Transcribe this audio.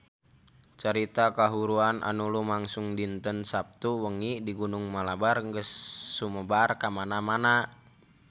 Carita kahuruan anu lumangsung dinten Saptu wengi di Gunung Malabar geus sumebar kamana-mana